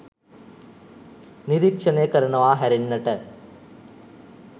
නිරීක්ෂණය කරනවා හැරෙන්නට